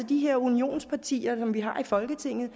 de her unionspartier som vi har i folketinget